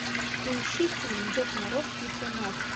поищи фильм дед мороз битва магов